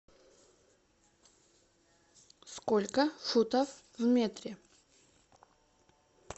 сколько футов в метре